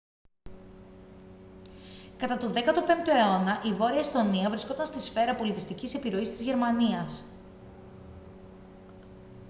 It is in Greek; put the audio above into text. κατά τον 15ο αιώνα η βόρεια εσθονία βρισκόταν στη σφαίρα πολιτιστικής επιρροής της γερμανίας